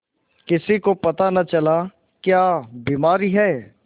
किसी को पता न चला क्या बीमारी है